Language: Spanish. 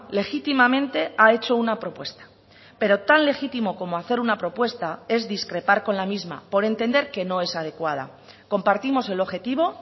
legítimamente ha hecho una propuesta pero tan legítimo como hacer una propuesta es discrepar con la misma por entender que no es adecuada compartimos el objetivo